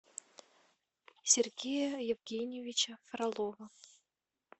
сергея евгеньевича фролова